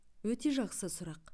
өте жақсы сұрақ